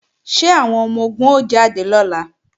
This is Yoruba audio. Ṣé àwọn ọmọ-ogun ó jáde lọ́la?